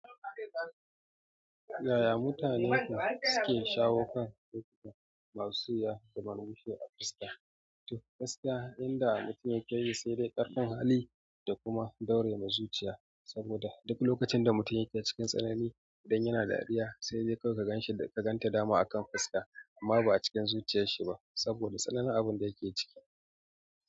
Yaya mutane suke shawo kan ciki masu iya zaman wuce a fuska? To gaskiya yanda mutum yake sai dai ƙarfin hali da kuma daurema zuciya saboda duk lokacin da mutum yake cikin tsanani ko idan yana dariya sai dai karka gan shi da ganta dama akan fuska amma ba a cikin zuciyar shi ba saboda tsanani abun da yake ciki.